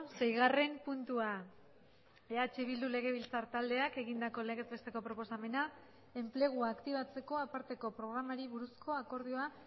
seigarren puntua eh bildu legebiltzar taldeak egindako legez besteko proposamena enplegua aktibatzeko aparteko programari buruzko akordioa